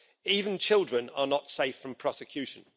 Even children are not safe from prosecution.